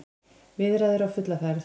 Viðræður á fulla ferð